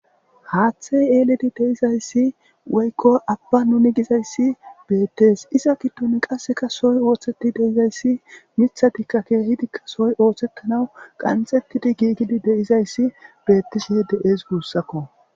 haaththey yeeledi deizayssi woykko abba nuni gizayssi beettees iza giddun qasseka soy ooththeti deizayssi mithadikka keehidikka soy ooththettanaw qanxettidi giigidi deizayssi beettisihe de7es guussakko